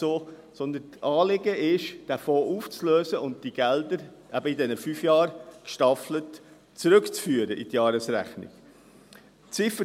– Das Anliegen ist aber, den Fonds aufzulösen und die Gelder in diesen fünf Jahren gestaffelt in die Jahresrechnung zurückzuführen.